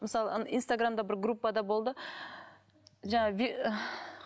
мысалы ана инстаграмда бір группада болды